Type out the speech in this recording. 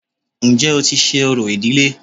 Ǹjẹ́ o ti ṣe orò ìdílé